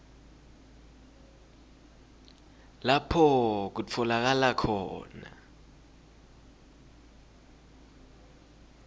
lapho kutfolakala khona